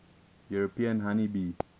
european honey bee